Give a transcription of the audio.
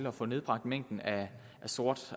at få nedbragt mængden af sort